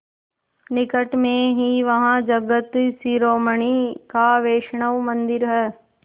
निकट में ही वहाँ जगत शिरोमणि का वैष्णव मंदिर है